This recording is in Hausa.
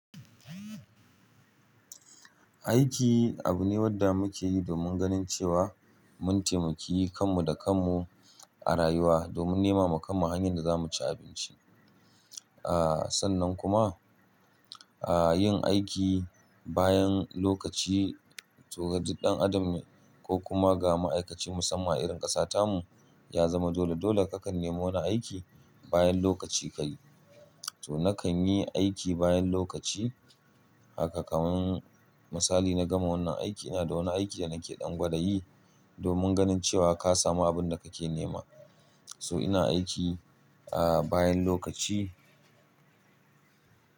Aiki abune wanda muke yi domin ganin cewa mun taimaki kanmu da kanmu a rayuwa domin nema wa kanmu hanyar da zamu ci abinci. Aaa, sannan kuma, aa yin aiki bayan lokaci to ga duk ɗan adam ne ko kuma ga ma'aikaci musamman irin ƙasa tamu ya zama dole. Dole kakan nemi wani aiki bayan lokaci ka yi. To nakan yi aiki bayan lokaci haka kaman misali na gama wannan aiki ina da wani aiki da nake ɗan gwada yi domin ganin cewa ka samu abin da kake nema. So ina aiki, aa bayan lokaci.